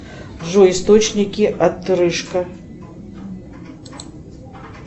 джой источники отрыжка